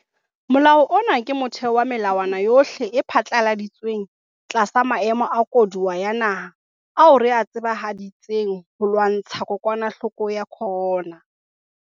Molao ona ke motheo wa melawana yohle e phatlaladitsweng tlasa maemo a koduwa ya naha ao re a tsebahaditseng ho lwantsha kokwanahloko ya corona.